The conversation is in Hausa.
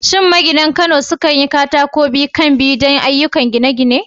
Shin maginan Kano sukan sayi katako biyu-kan-biyu don ayyukan gine-gine?